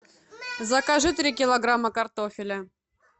закажи три килограмма картофеля